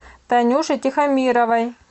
танюше тихомировой